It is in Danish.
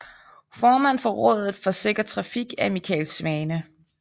Formand for Rådet for Sikker Trafik er Michael Svane